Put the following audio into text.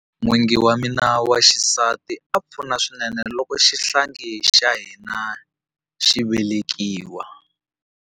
N'wingi wa mina wa xisati a pfuna swinene loko xihlangi xa hina xi velekiwa.